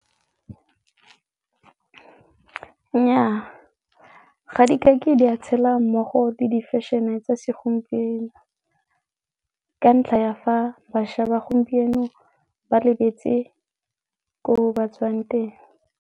Nnyaa, ga di kake di a tshela mmogo le di-fashion-e tsa segompieno ka ntlha ya fa bašwa ba gompieno ba lebetse ko ba tswang teng.